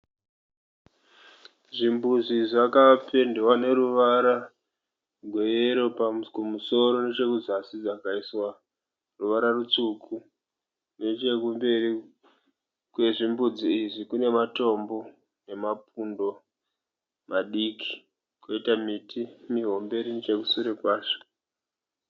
Zvimbuzi zvakapendwa neruvara rweyero kumusoro nechekuzasi zvikaiswa ruvara rutsvuku. Nechekumberi kwezvimbudzi izvi kune matombo nemapundo madiki kwoita miti mihombe iri nechekushure kwacho.